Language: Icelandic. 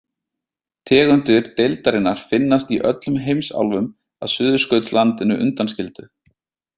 Tegundir deildarinnar finnast í öllum heimsálfum að Suðurskautslandinu undanskildu.